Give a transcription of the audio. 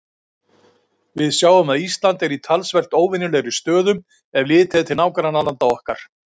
Við sjáum að Ísland er í talsvert óvenjulegri stöðu, ef litið er til nágrannalanda okkar.